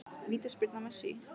Vítaspyrna Messi?